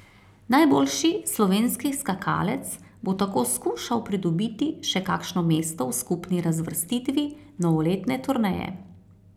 Najboljši slovenski skakalec bo tako skušal pridobiti še kakšno mesto v skupni razvrstitvi novoletne turneje.